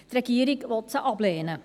Die Regierung will sie ablehnen.